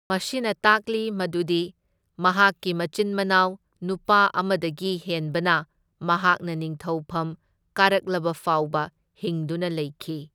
ꯃꯁꯤꯅ ꯇꯥꯛꯂꯤ ꯃꯗꯨꯗꯤ ꯃꯍꯥꯛꯀꯤ ꯃꯆꯤꯟ ꯃꯅꯥꯎ ꯅꯨꯄꯥ ꯑꯃꯗꯒꯤ ꯍꯦꯟꯕꯅ ꯃꯍꯥꯛꯅ ꯅꯤꯡꯊꯧꯐꯝ ꯀꯥꯔꯛꯂꯕꯐꯥꯎꯕ ꯍꯤꯡꯗꯨꯅ ꯂꯩꯈꯤ꯫